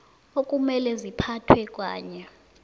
okumele ziphethwe kanye